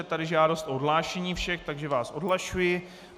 Je tady žádost o odhlášení všech, takže vás odhlašuji.